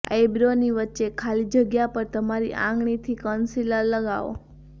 આઇબ્રોની વચ્ચે ખાલી જગ્યા પર તમારી આંગળીથી કન્સીલર લગાવો